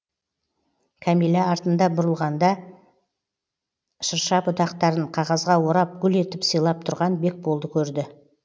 кәмилә артына бұрылғанда шырша бұтақтарын қағазға орап гүл етіп сыйлап тұрған бекболды көрді